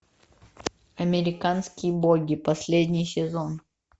американские боги последний сезон